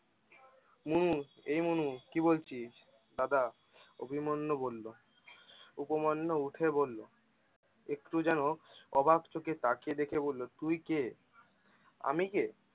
মনু এই মনু, কি বলছিস দাদা? অভিমন্যু বললো, উপমান্য উঠে বললো, একটু যেন অবাক চোখে তাকিয়ে দেখে বলল, তুই কে? আমি কে?